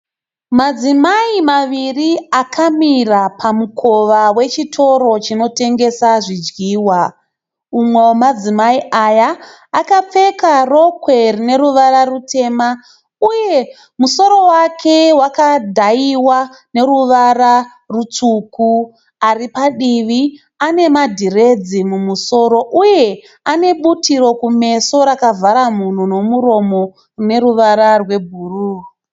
Madzimai maviri akamira pamukova wechitoro chinotengesa zvidyiwa. Mumwe wemadzimai aya akapfeka rokwe rine ruvara rutema uye musoro wake wakadhayiwa neruvara rutsvuku. Ari padivi ane madhiredzi mumusoro uye anebhutiro kumeso rakavhara mhuno nomuromo rine ruvara rwebhuru.